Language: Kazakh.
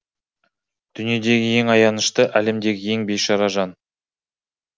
дүниедегі ең аянышты әлемдегі ең бейшара жан